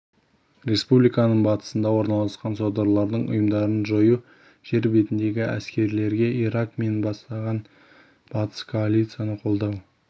республиканың батысында орналасқан содырлардың ұйымдарын жою жер бетіндегі әскерлерге ирак мен бастаған батыс коалициясы қолдау